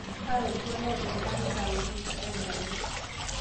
taara oltuala otipikaki saa uni onusu tedekenya